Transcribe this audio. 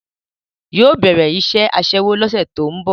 Yóò bẹ̀rẹ̀ iṣẹ́ Aṣẹ́wó lọ́sẹ̀ tó ń bọ̀